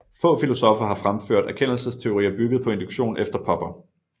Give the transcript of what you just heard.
Få filosoffer har fremført erkendelsesteorier bygget på induktion efter Popper